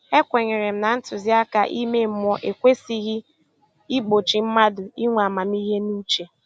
E kwenyere m na ntụziaka ime mmụọ ekwesịghị i gbochi mmadụ inwe amamihe na uche